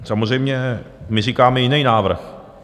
Samozřejmě my říkáme jiný návrh.